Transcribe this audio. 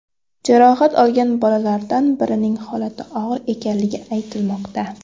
Jarohat olgan bolalardan birining holati og‘ir ekanligi aytilmoqda.